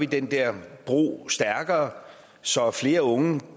den der bro stærkere så flere unge